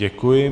Děkuji.